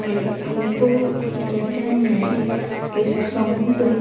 ये फोटो देखने में किसी समुंद्र--